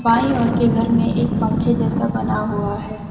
बाईं ओर के घर में एक पंखे जैसा बना हुआ है।